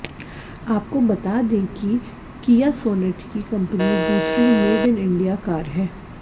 आपको बता दें कि किया सोनेट की कंपनी दूसरी मेड इन इंडिया कार है